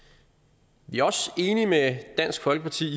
vi er også enige med dansk folkeparti